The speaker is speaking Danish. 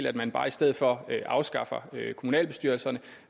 at man bare i stedet for afskaffer kommunalbestyrelserne